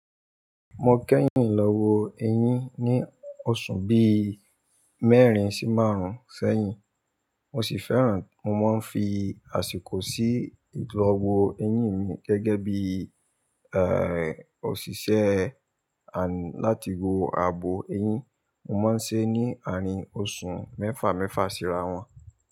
Mo kẹ́yìn lọ́wọ́ eyín ní oṣù bíí mẹ́rin sí márùn-ún sẹ́yìn mo sì fẹ́ràn, mo máa ń fi àsìkò sí ìdánwò eyín mi gẹ́gẹ́ bí, òṣìṣẹ́, láti wó ààbò eyín. Mo máa ń ṣe é ní àárín oṣù mẹ́fà mẹ́fà síra wọn.